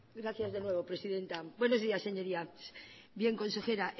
gracias de nuevo presidenta buenos días señorías bien consejera